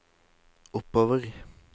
oppover